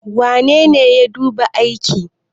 wanene ya duba aiki?